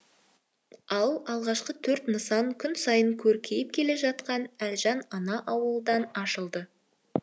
ал алғашқы төрт нысан күн сайын көркейіп келе жатқан әлжан ана ауылында ашылды